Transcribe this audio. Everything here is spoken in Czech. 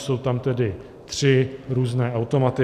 Jsou tam tedy tři různé automaty.